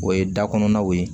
O ye da kɔnɔnaw ye